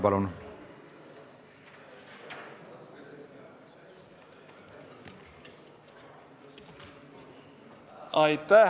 Palun!